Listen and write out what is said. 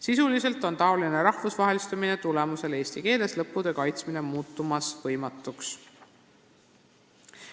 Sisuliselt on taolise rahvusvahelistumise tulemusel eesti keeles lõputöö kaitsmine muutumas võimatuks.